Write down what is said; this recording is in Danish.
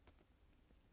Af Tove Berg